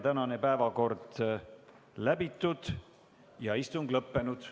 Tänane päevakord on läbitud ja istung lõppenud.